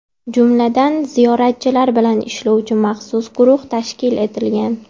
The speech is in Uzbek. Jumladan, ziyoratchilar bilan ishlovchi maxsus guruh tashkil etilgan.